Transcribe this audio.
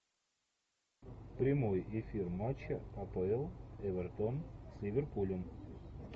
прямой эфир матча апл эвертон с ливерпулем